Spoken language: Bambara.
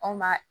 Anw b'a